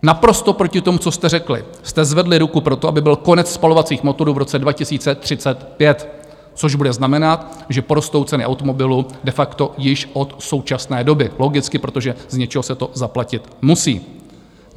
Naprosto proti tomu, co jste řekli, jste zvedli ruku pro to, aby byl konec spalovacích motorů v roce 2035, což bude znamenat, že porostou ceny automobilů de facto již od současné doby, logicky, protože z něčeho se to zaplatit musí.